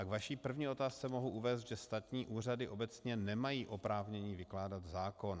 A k vaší první otázce mohu uvést, že státní úřady obecně nemají oprávnění vykládat zákon.